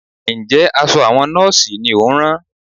Ǹjẹ́ aṣọ àwọn Nọ́ọ̀sì ni ò ń rán?